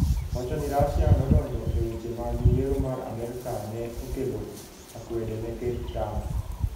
Wacho ni Russia nodonjo e weche mag yiero mar Amerka ne okelo akwede ne Ker Trump.